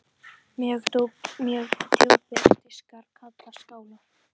Mjög djúpir diskar kallast skálar.